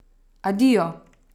Adijo!